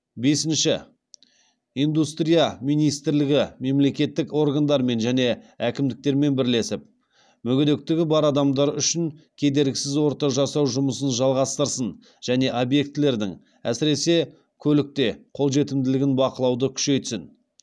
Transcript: бесінші индустрия министрлігі мемлекеттік органдармен және әкімдіктермен бірлесіп мүгедектігі бар адамдар үшін кедергісіз орта жасау жұмысын жалғастырсын және объектілердің әсіресе көлікте қолжетімділігін бақылауды күшейтсін